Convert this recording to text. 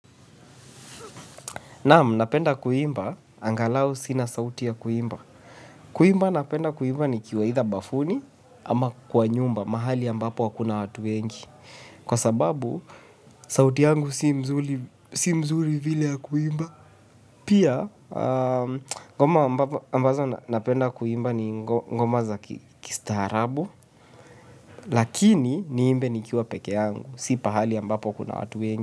Naamu napenda kuimba angalau sina sauti ya kuimba. Kuimba napenda kuimba ni kiwa hitha bafuni ama kwa nyumba mahali ambapo hakuna watu wengi. Kwa sababu sauti yangu si mzuri vile ya kuimba. Pia ngoma ambazo napenda kuimba ni ngoma za kistaharabu. Lakini niimbe ni kiwa peke yangu. Si pahali ambapo kuna watu wengi.